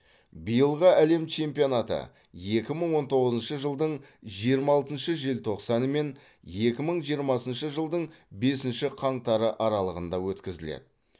биылғы әлем чемпионаты екі мың он тоғызыншы жылдың жиырма алтыншы желтоқсаны мен екі мың жиырмасыншы жылдың бесінші қаңтары аралығында өткізіледі